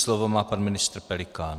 Slovo má pan ministr Pelikán.